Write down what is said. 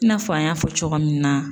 I n'a fɔ an y'a fɔ cogo min na